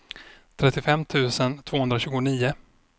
trettiofem tusen tvåhundratjugonio